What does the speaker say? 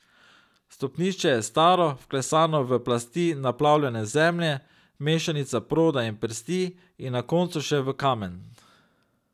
Stopnišče je bilo staro, vklesano v plasti naplavljene zemlje, mešanice proda in prsti, in na koncu še v kamen.